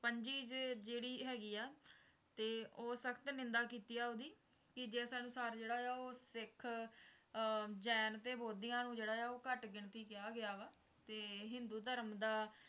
ਪੰਜੀਜ ਜਿਹੜੀ ਹੈਗੀ ਹੈ ਤੇ ਉਹ ਸਖਤ ਨਿੰਦਾ ਕੀਤੀ ਹੈ ਓਹਦੀ ਕਿ ਜੇ ਸੰਸਾਰ ਜਿਹੜਾ ਹੈ ਉਹ ਸਿੱਖ ਜੈਨ ਤੇ ਬੋਧੀਆਂ ਨੂੰ ਜਿਹੜਾ ਹੈ ਉਹ ਘੱਟ ਗਿਣਤੀ ਕਿਹਾ ਗਿਆ ਵਾ ਤੇ ਹਿੰਦੂ ਧਰਮ ਦਾ